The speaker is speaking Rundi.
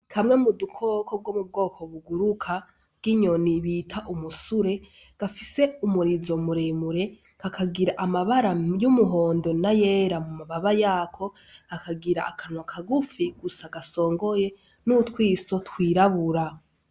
Kamwe mu dukoko two mu bwoko buguruka bw'inyoni bita umusure gafise umurizo muremure kakagira amabara y'umuhondo n'ayera mu mababa yako, kakagira akanwa kagufi gusa gasongoye n'utwiso twirabura.